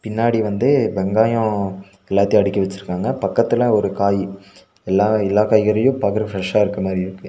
முன்னாடி வந்து வெங்காயோ எல்லாத்தயு அடுக்கி வெச்சிருக்காங்க பக்கத்துல ஒரு காய் எல்லா எல்லா காய்கறியு பாக்றக்கு ஃபிரெஷ்ஷா இருக்ற மாரி இருக்கு.